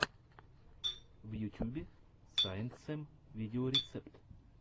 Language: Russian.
в ютюбе саинтсэм видеорецепт